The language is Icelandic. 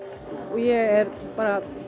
ég er bara